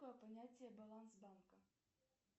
понятие баланс банка